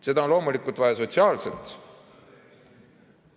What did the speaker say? Seda on loomulikult vaja sotsiaalselt ...